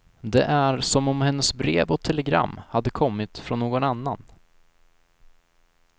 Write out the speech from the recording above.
Det är som om hennes brev och telegram hade kommit från någon annan.